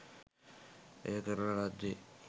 එය කරන ලද්දේ